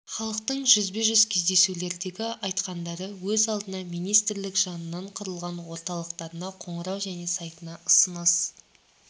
халықтың жүзбе жүз кездесулердегі айтқандары өз алдына министрлік жанынан құрылған орталықтарына қоңырау және сайтына ұсыныс